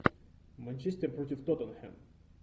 манчестер против тоттенхэм